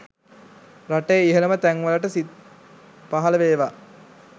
රටේ ඉහළම තැන්වලට සිත් පහළ වේවා